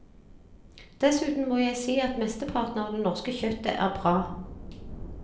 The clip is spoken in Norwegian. Dessuten må jeg si at mesteparten av det norske kjøttet er bra.